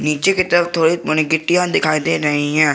नीचा की तरफ थोड़ी मोड़ी गिट्टियां दिखाई दे रही हैं।